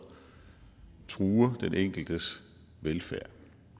truer den enkeltes velfærd